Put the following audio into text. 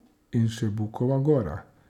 In še Bukova gora!